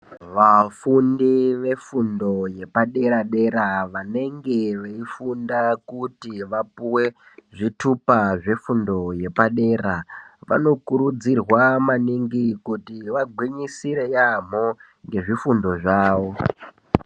Vafundi vefundo yepadera dera vanenge veifunda kuti vapuhwe zvitupa zvefundo yepadera, vanokurudzirwa manhingi kuti vagwinyisire yaamho ngezvifundo zvavo.